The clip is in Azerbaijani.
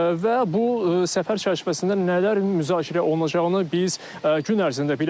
Və bu səfər çərçivəsində nələr müzakirə olunacağını biz gün ərzində biləcəyik.